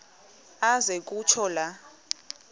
aze kutsho la